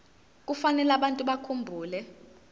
kufanele abantu bakhumbule